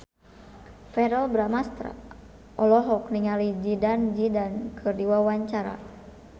Verrell Bramastra olohok ningali Zidane Zidane keur diwawancara